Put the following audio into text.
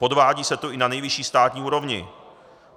Podvádí se tu i na nejvyšší státní úrovni.